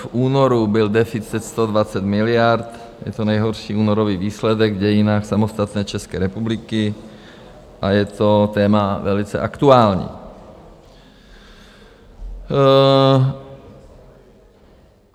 V únoru byl deficit 120 miliard, je to nejhorší únorový výsledek v dějinách samostatné České republiky, a je to téma velice aktuální.